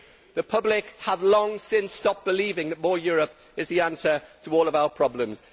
The public have long since stopped believing that more Europe is the answer to all of our problems.